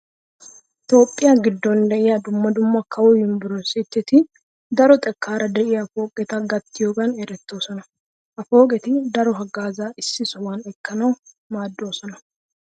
Toophphiya giddon de'iya dumma dumma kawo yunverestteti daroxekkaara de'iya pooqeta gattiyogan erettoosona. Ha pooqeti daro haggaazaa issi sohuwan ekkanawu maaddoosona.